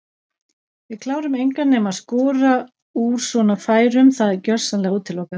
Við klárum engan nema skora úr svona færum það er gjörsamlega útilokað.